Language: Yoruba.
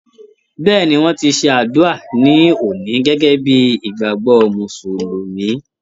Bẹ́ẹ̀ni, wọ́n ti ṣe àdúà ní òní gẹ́gẹ́ bíi ìgbàgbọ́ Mùsùlùmí.